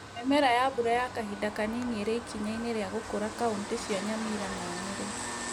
Mĩmera ya mbura ya kahinda kanini irĩ ikinya-inĩ ria gũkũra kauntĩ cia Nyamira na Nyeri